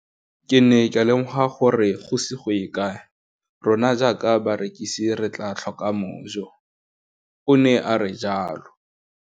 Ke ne ka lemoga gore go ise go ye kae rona jaaka barekise re tla tlhoka mojo, o ne a re jalo.